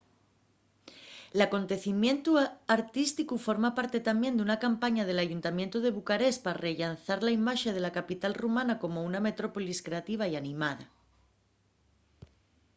l’acontecimientu artísticu forma parte tamién d’una campaña del ayuntamientu de bucarest pa rellanzar la imaxe de la capital rumana como una metrópolis creativa y animada